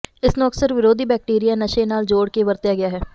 ਇਸ ਨੂੰ ਅਕਸਰ ਵਿਰੋਧੀ ਬੈਕਟੀਰੀਆ ਨਸ਼ੇ ਨਾਲ ਜੋੜ ਕੇ ਵਰਤਿਆ ਗਿਆ ਹੈ